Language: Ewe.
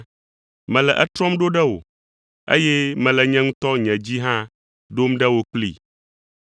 Mele etrɔm ɖo ɖe wò, eye mele nye ŋutɔ nye dzi hã ɖom ɖe wò kplii.